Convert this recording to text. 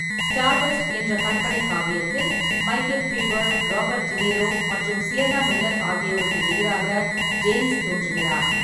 Stardust என்ற கற்பனை காவியத்தில் மைக்கேல் பீஃபர், ராபர்ட் டினிரோ மற்றும் சியன்னா மில்லர் ஆகியோருக்கு எதிராக டேன்ஸ் தோன்றுகிறார்.